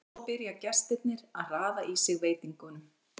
Svo byrja gestirnir að raða í sig veitingunum.